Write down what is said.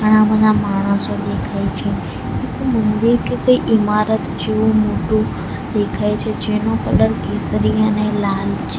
ઘણા બધા માણસો દેખાય છે એક મંદિર કે કંઈ ઇમારત જેવું મોટું દેખાય છે જેનો કલર કેસરી અને લાલ છે.